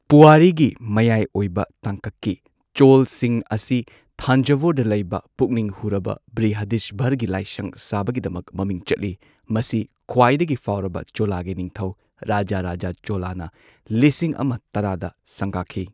ꯄꯨꯋꯥꯔꯤꯒꯤ ꯃꯌꯥꯏ ꯑꯣꯏꯕ ꯇꯥꯡꯀꯛꯀꯤ ꯆꯣꯂꯁꯤꯡ ꯑꯁꯤ ꯊꯥꯟꯖꯚꯨꯔꯗ ꯂꯩꯕ ꯄꯨꯛꯅꯤꯡ ꯍꯨꯔꯕ ꯕ꯭ꯔꯤꯍꯗꯤꯁꯚꯔꯒꯤ ꯂꯥꯏꯁꯪ ꯁꯥꯕꯒꯤꯗꯃꯛ ꯃꯃꯤꯡ ꯆꯠꯂꯤ꯫ ꯃꯁꯤ ꯈ꯭ꯋꯥꯏꯗꯒꯤ ꯐꯥꯎꯔꯕ ꯆꯣꯂꯥꯒꯤ ꯅꯤꯡꯊꯧꯔꯥꯖꯥ ꯔꯥꯖꯥ ꯆꯣꯂꯥꯅ ꯂꯤꯁꯤꯡ ꯑꯃ ꯇꯔꯥꯗ ꯁꯪꯒꯥꯈꯤ꯫